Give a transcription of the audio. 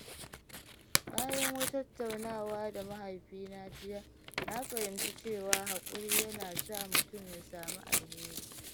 Bayan wata tattaunawa da mahaifina jiya, na fahimci cewa haƙuri yana sa mutum ya samu alheri.